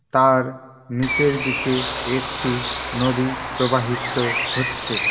তার নীচের দিকে একটি নদী প্রবাহিত হচ্ছে।